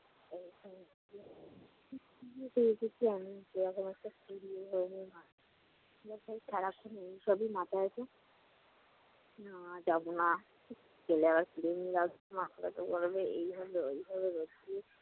সেক্ষেত্রে আমি সবই মাথায় আসে। না যাবো না চলে আসব এমনি মাথা ব্যথা করবে, এই করবে, ওই করবে।